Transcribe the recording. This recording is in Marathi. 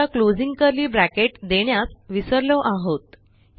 समजा क्लोजिंग कर्ली ब्रॅकेट देण्यास विसरलो आहोत